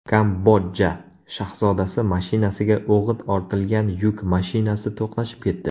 Kambodja shahzodasi mashinasiga o‘g‘it ortilgan yuk mashinasi to‘qnashib ketdi.